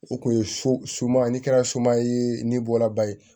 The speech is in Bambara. O kun ye so su man ni kɛra suma ye ni bɔlabaa ye